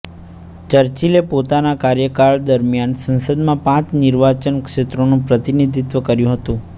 ચર્ચિલે પોતાના કાર્યકાળ દરમિયાન સંસદમાં પાંચ નિર્વાચન ક્ષેત્રોનું પ્રતિનિધિત્ત્વ કર્યું હતું